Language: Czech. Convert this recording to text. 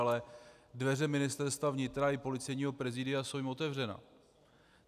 Ale dveře Ministerstva vnitra i Policejního prezidia jsou jim otevřené.